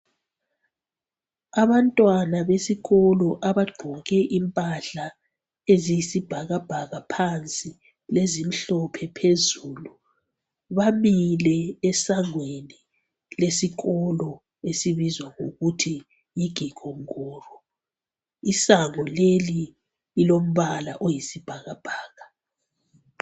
Abantwana besikolo abagqoke impahla eziyisibhakabhaka phansi lezimhlophe phezulu bamile esangweni lesikolo esibizwa ngokuthi yiGikongoro, isango leli lilombala oyisibhakabhaka.